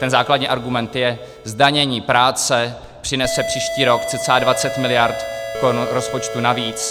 Ten základní argument je - zdanění práce přinese příští rok cca 20 miliard korun rozpočtu navíc.